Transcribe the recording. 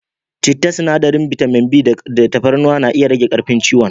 Citta, sinadarin bitamin b da tafarnuwa na iya rage karfin ciwon